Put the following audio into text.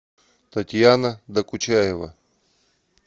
татьяна докучаева